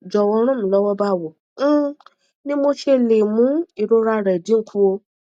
jọwọ ràn mí lọwọ báwo um ni mo ṣe lè mú ìrora rẹ dín kùò